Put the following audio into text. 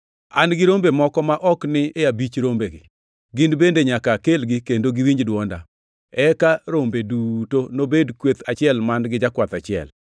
An gi rombe moko ma ok ni e abich rombegi. Gin bende nyaka akelgi kendo giniwinj dwonda, eka rombe duto nobed kweth achiel man-gi jakwath achiel.